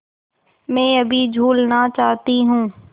मैं अभी झूलना चाहती हूँ